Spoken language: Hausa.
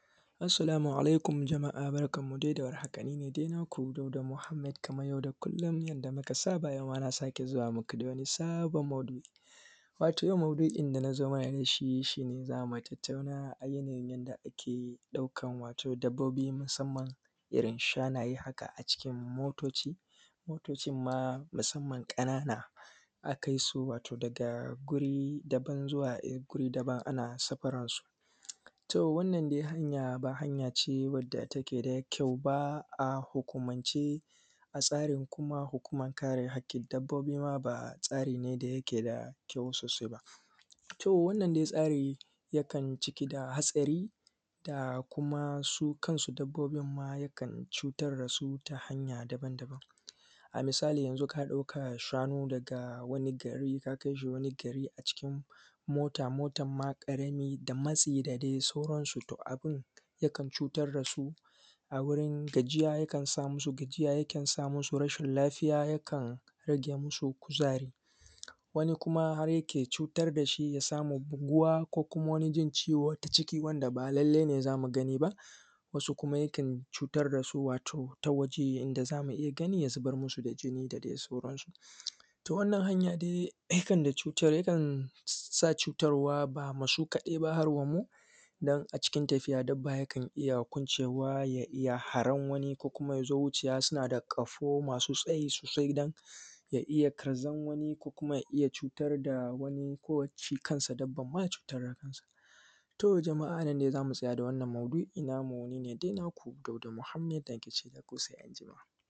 Assalamu alaikum. Jama’a barkanmu da warhaka kaman kullun ni ne dai naku Dauda Mohammed, kaman yadda muka saba yau ma na sake zuwa muku da wani sabon maudu’i wato yau maudu’in da na zo mana da shi shi ne za mu tattauna akan yanayi wanda muke ɗaukan dabbobi musamman irin shanaye haka a cikin motoci musamman ƙanana a kai su daga wuri daban-daban ana safaran su. To, wannan dai hanya ba hanya ce da take da kyau ba a hukumance da tsarin kuma hukuman kare haƙƙin dabbobi kuma ba tsari ne da yake da kyau sosai ba, to wannan tsari dai yana cike da hatsari da kuma su kansu dabbobin ma akan cutar da su ta hanya daban-daban, a misali kaman yanzu ka ɗauki shanu daga wani gari ka kai shi wani gari a cikin mota ƙarami da matsi da dai sauran su abun yakan cutar da su ya sa musu gajiya, yakan sa musu rashin lafiya ya rage musu kuzari. Wani kuma har ya sa mai buguwa ko jin ciwo ko ta cikin jiki wanda ba lallai ne za mu gani ba, wasu kuma yakan cutar da su ta wajen da za mu iya gani, ya zubar musu da jini da dai sauran su. To, wannan hanya dai yakan sa cutar wa ba wai su kaɗai ba har damu don a cikin tafiya dabba yakan iya kwancewa har ya hari wani kuma suna da ƙahoo masu tsayi sosai, don ya iya karzan wani ko ya iya cutar da wani don wani lokaci ma dabban zai iya cutar da kansa. To, a nan dai za mu tsaya da wannan maudu’in ni ne naku Dauda Mohammed.